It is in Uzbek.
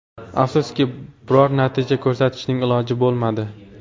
Afsuski, biror natija ko‘rsatishning iloji bo‘lmadi.